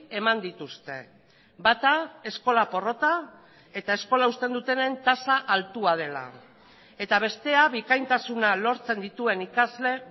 eman dituzte bata eskola porrota eta eskola uzten dutenen tasa altua dela eta bestea bikaintasuna lortzen dituen ikasle